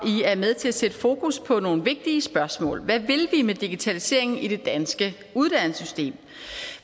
er med til at sætte fokus på nogle vigtige spørgsmål hvad vil vi med digitaliseringen i det danske uddannelsessystem